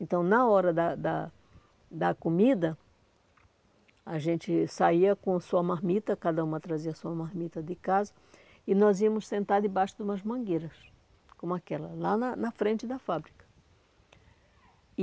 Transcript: Então, na hora da da da comida, a gente saía com sua marmita, cada uma trazia sua marmita de casa, e nós íamos sentar debaixo de umas mangueiras, como aquela, lá na na frente da fábrica. E